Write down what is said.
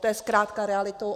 To je zkrátka realitou.